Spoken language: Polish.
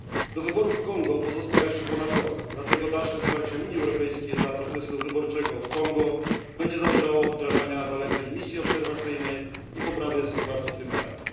Do wyborów w Kongo pozostał jeszcze ponad rok, dlatego dalsze wsparcie Unii Europejskiej dla procesu wyborczego w Kongo będzie zależało od wdrażania zaleceń misji obserwacyjnej i poprawy sytuacji w tym kraju.